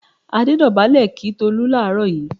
Adé dọ̀bálẹ̀ kí Tolú láàárọ̀ yìí.